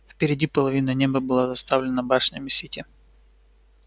впереди половина неба была заставлена башнями сити